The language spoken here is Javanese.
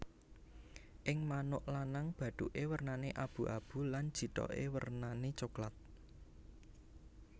Ing manuk lanang bathuke wernane abu abu lan jithoke wernane coklat